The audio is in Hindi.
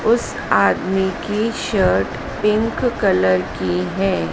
उस आदमी की शर्ट पिंक कलर की है।